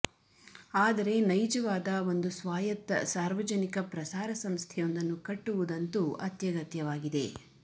ಆದರೆ ನೈಜವಾದ ಒಂದು ಸ್ವಾಯತ್ತ ಸಾರ್ವಜನಿಕ ಪ್ರಸಾರ ಸಂಸ್ಥೆಯೊಂದನ್ನು ಕಟ್ಟುವುದಂತೂ ಅತ್ಯಗತ್ಯವಾಗಿದೆ